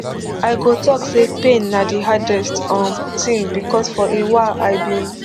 i go tok say pain na di hardest um tin becos for a while i bin